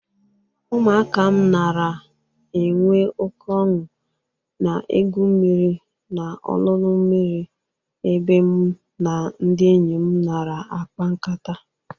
Ụmụaka m nara enwe oke ọñụ na-egwu mmiri n'olulu mmiri ebe mụ na ndị enyi m nara akpa nkata.